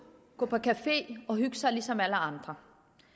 gå på café og hygge sig ligesom alle andre